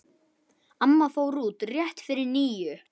Amma fór út rétt fyrir níu.